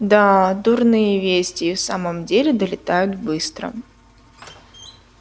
да дурные вести и в самом деле долетают быстро